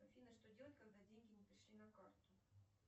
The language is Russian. афина что делать когда деньги не пришли на карту